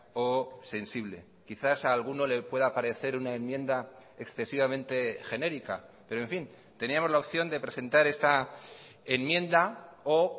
o sensible quizás a alguno le pueda parecer una enmienda excesivamente genérica pero en fin teníamos la opción de presentar esta enmienda o